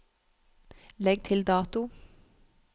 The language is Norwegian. Legg til dato